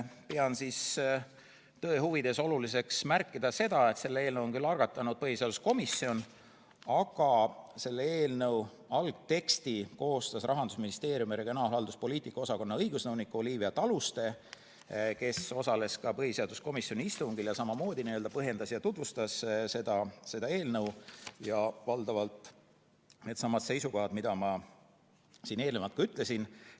Pean tõe huvides oluliseks märkida, et selle eelnõu on algatanud küll põhiseaduskomisjon, aga selle eelnõu algteksti koostas Rahandusministeeriumi regionaalhalduspoliitika osakonna õigusnõunik Olivia Taluste, kes osales ka põhiseaduskomisjoni istungil ja põhjendas ning tutvustas seda eelnõu ja valdavalt needsamad seisukohad, millest ma siin eelnevalt ka rääkisin.